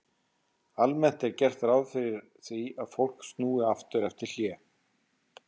Almennt er gert ráð fyrir því að fólk snúi aftur eftir hlé.